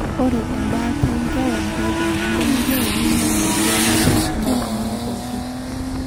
ore embaata enkewan tooltung'anak lemeyiolo neinyol imali ormarei onooltung'anak pooki